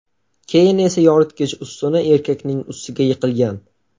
Keyin esa yoritgich ustuni erkakning ustiga yiqilgan.